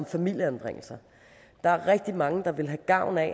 familieanbringelser der er rigtig mange der ville have gavn af